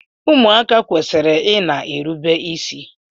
Ụmụaka kwesịrị ịna erubi isi